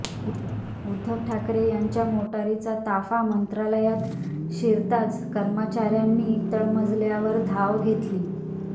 उद्धव ठाकरे यांच्या मोटारींचा ताफा मंत्रालयात शिरताच कर्मचाऱ्यांनी तळमजल्यावर धाव घेतली